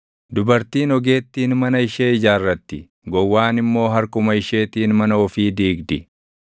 Dubartiin ogeettiin mana ishee ijaarratti; gowwaan immoo harkuma isheetiin mana ofii diigdi.